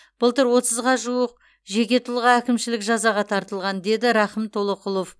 былтыр отызға жуық жеке тұлға әкімшілік жазаға тартылған деді рақым толоқұлов